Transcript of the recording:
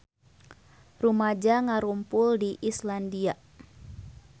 Rumaja ngarumpul di Islandia